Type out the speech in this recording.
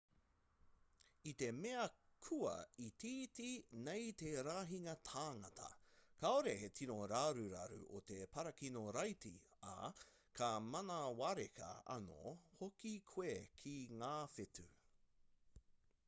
i te mea kua itiiti nei te rahinga tāngata kāore he tino raruraru o te parakino-raiti ā ka manawareka anō hoki koe ki ngā whetū